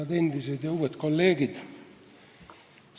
Head endised ja uued kolleegid!